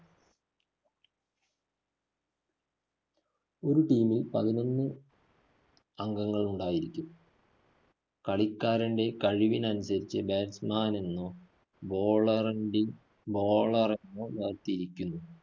ഒരു team ല്‍ പതിനൊന്ന് അംഗങ്ങള്‍ ഉണ്ടായിരിക്കും. കളിക്കാരന്റെ കഴിവിന് അനുസരിച്ച് batsman എന്നോ bowler എങ്കില്‍ bowler എന്നോ വേര്‍തിരിക്കുന്നു.